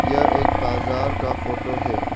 यह एक बाजार का फोटो है।